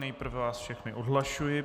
Nejprve vás všechny odhlašuji.